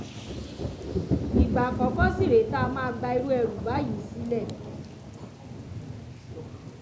ìgbà àkọ́kọ́ sì rèé tá a máa gba irú ẹrú báyìí sílẹ̀